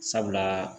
Sabula